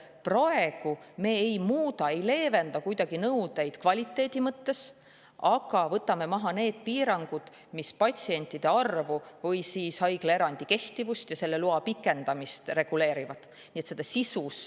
Nii et praegu me kuidagi ei muuda ega leevenda nõudeid kvaliteedi mõttes, aga me võtame maha need piirangud, mis patsientide arvu või haiglaerandi kehtivust ja selle loa pikendamist reguleerivad.